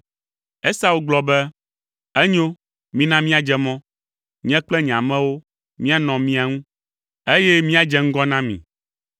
Esau gblɔ be, “Enyo, mina míadze mɔ. Nye kple nye amewo, míanɔ mia ŋu, eye míadze ŋgɔ na mi.”